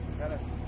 Tələsmə, tələsmə.